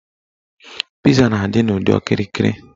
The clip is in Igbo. Piza na-adị n'ụdị okirikiri.